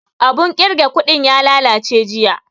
Abun ƙirga kuɗin ya lalace jiya